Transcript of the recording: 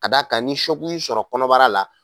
Ka d'a kan ni y'i sɔrɔ kɔnɔbara la